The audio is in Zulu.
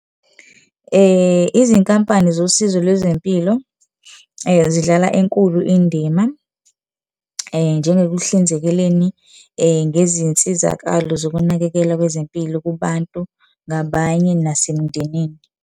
Izinkampani zosizo lwezempilo zidlala enkulu indima njengokuhlinzekeleni, ngezinsizakalo zokunakekela kwezempilo kubantu ngabanye nasemndenini.